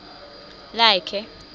lakhe